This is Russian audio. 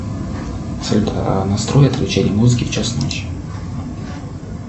салют а настрой отключение музыки в час ночи